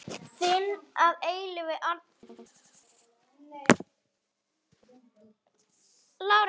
Þinn að eilífu, Arnþór.